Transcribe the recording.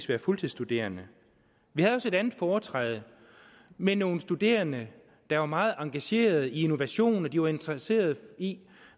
være fuldtidsstuderende vi havde også et andet foretræde med nogle studerende der var meget engagerede i innovation og de var interesserede i